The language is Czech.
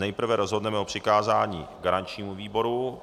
Nejprve rozhodneme o přikázání garančnímu výboru.